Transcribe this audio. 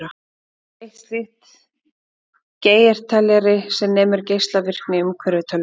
Eitt slíkt er Geigerteljari, sem nemur geislavirkni í umhverfi tölvunnar.